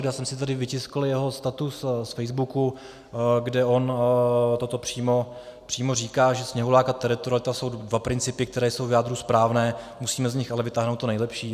Já jsem si tady vytiskl jeho status z Facebooku, kde on toto přímo říká, že sněhulák a teritorialita jsou dva principy, které jsou v jádru správné, musíme z nich ale vytáhnout to nejlepší.